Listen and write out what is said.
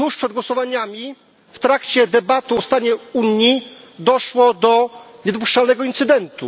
głosowaniami, w trakcie debaty o stanie Unii doszło do niedopuszczalnego incydentu.